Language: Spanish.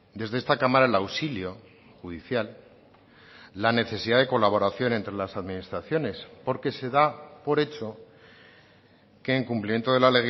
desde esta cámara el auxilio judicial la necesidad de colaboración entre las administraciones porque se da por hecho que en cumplimiento de la